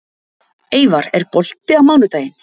Eyvar, er bolti á mánudaginn?